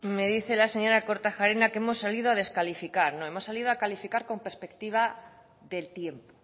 me dice la señora kortajarena que hemos salido a descalificar no hemos salido a calificar con perspectiva del tiempo